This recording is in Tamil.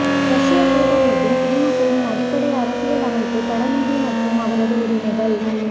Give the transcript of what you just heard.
ரஷ்ய கூட்டமைப்பின் குடிமக்களின் அடிப்படை அரசியலமைப்பு கடமைகள் மற்றும் அவரது உரிமைகள்